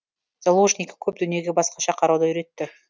заложники көп дүниеге басқаша қарауды үйретті